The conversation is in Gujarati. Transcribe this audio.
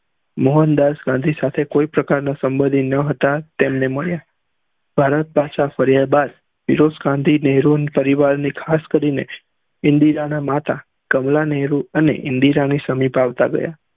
મોહનદાસ ગાંધી સાથે કોઈ પ્રકાર ના સમ્ભ્ન્ધી ના હતાતેમને મળ્યા ભારત પાછા ફર્યા બાદ ફિરોજ ખાન થી નેહરુ પરિવાર ની ખાસ કરી ને ઇન્દિરા ના માતા કમલા નેહરુ અને ઇન્દિરા ની સમીપ આવતા ગયા